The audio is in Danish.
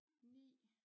9